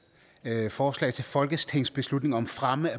forslag til folketingsbeslutning om fremme af